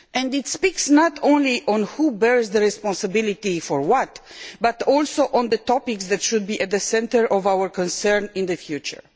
It deals not only with who bears responsibility for what, but also focuses on the topics that should be at the centre of our concern in the future.